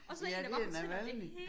Ja det er Navalnyj